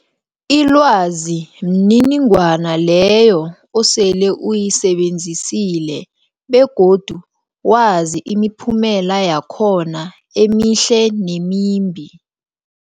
Ilwazi mniningwana leyo osele uyisebenzisile begodu wazi imiphumela yakhona emihle nemimbi.